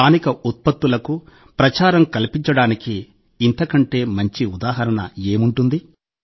స్థానిక ఉత్పత్తులకు ప్రచారం కల్పించడానికి ఇంతకంటే మంచి ఉదాహరణ ఏముంటుంది